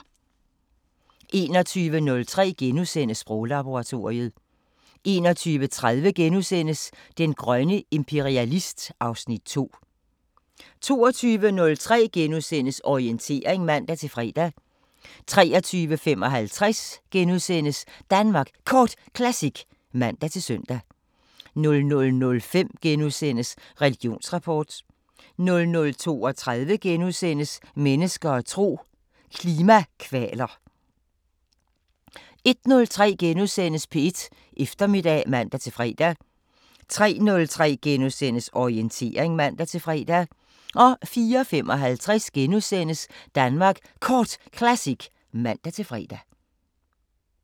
21:03: Sproglaboratoriet * 21:30: Den grønne imperialist (Afs. 2)* 22:03: Orientering *(man-fre) 23:55: Danmark Kort Classic *(man-søn) 00:05: Religionsrapport * 00:32: Mennesker og tro: Klimakvaler * 01:03: P1 Eftermiddag *(man-fre) 03:03: Orientering *(man-fre) 04:55: Danmark Kort Classic *(man-fre)